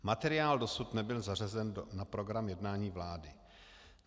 Materiál dosud nebyl zařazen na program jednání vlády.